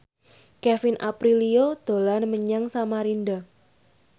Kevin Aprilio dolan menyang Samarinda